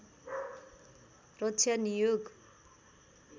रक्षा नियोग